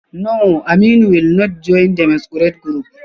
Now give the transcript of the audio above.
No, Aminu will not join the masquerade group